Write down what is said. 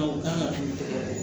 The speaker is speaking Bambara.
Aw kan ka min fɔ